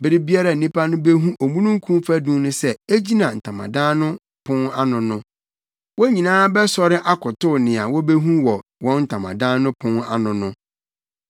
Bere biara a nnipa no behu omununkum fadum no sɛ egyina ntamadan no pon ano no, wɔn nyinaa bɛsɔre akotow nea wobehu wɔ wɔn ntamadan no pon ano no.